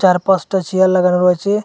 চার পাঁচটা চেয়ার লাগানো রয়েছে।